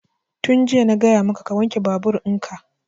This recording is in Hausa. Tun jiya na gaya maka ka wanke babur in ka!